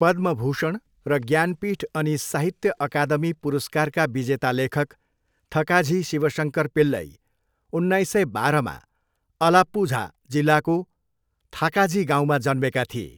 पद्मभूषण र ज्ञानपीठ अनि साहित्य अकादमी पुरस्कार विजेता लेखक थकाझी शिवशङ्कर पिल्लई, उन्नाइस सय बाह्र उन्नाइस सय उनान्सय, अलाप्पुझा जिल्लाको थाकाझी गाउँमा जन्मेका थिए।